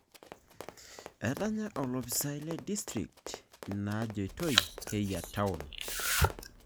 Etanya olopisai le distrikt inaajoitoi keyia taon.